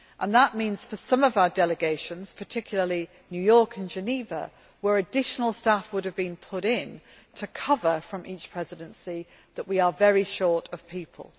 That means for some of our delegations particularly New York and Geneva, where additional staff would have been put in to cover for each Presidency that we are very short of people.